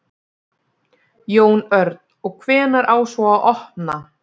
Jón Örn: Og hvenær á svo að opna?